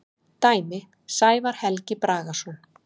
Dæmi: Sævar Helgi Bragason.